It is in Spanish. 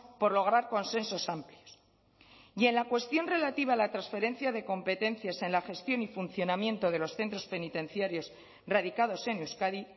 por lograr consensos amplios y en la cuestión relativa a la transferencia de competencias en la gestión y funcionamiento de los centros penitenciarios radicados en euskadi